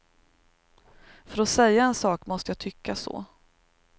För att säga en sak måste jag tycka så.